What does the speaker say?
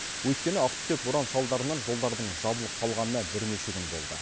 өйткені ақтүтек боран салдарынан жолдардың жабылып қалғанына бірнеше күн болды